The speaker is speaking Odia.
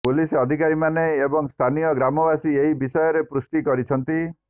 ପୁଲିସ ଅଧିକାରୀମାନେ ଏବଂ ସ୍ଥାନୀୟ ଗ୍ରାମବାସୀ ଏହି ବିଷୟରେ ପୁଷ୍ଟି କରିଛନ୍ତି